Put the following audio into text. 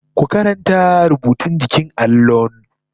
Ku karanta rubutun jikin allon!